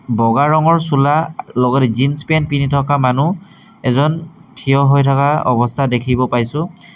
বগা ৰঙৰ চোলা লগত জিন্স পেন্ট পিন্ধি থকা মানুহ এজন থিয় হৈ থাকা অৱস্থা দেখিব পাইছোঁ।